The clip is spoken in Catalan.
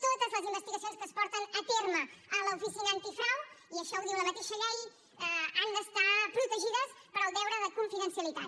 totes les investigacions que es porten a terme a l’oficina antifrau i això ho diu la mateixa llei han d’estar protegides pel deure de confidencialitat